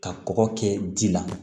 Ka kɔkɔ kɛ ji la